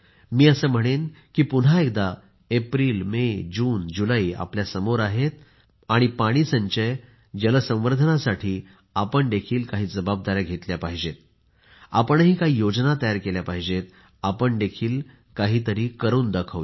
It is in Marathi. मी असे म्हणेन की पुन्हा एकदा एप्रिल मे जून जुलै आपल्या समोर आहेत आपण पाणी संचय जलसंवर्धनसाठी आपण देखील काही जबाबदाऱ्या घेतल्या पाहिजेत आपणही काही योजना तयार केल्या पाहिजेत आपण देखील काहीतरीही करून दाखवू